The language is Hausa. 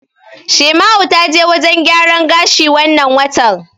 Shaima'u ta je wajen gyaran gashi wannan watan.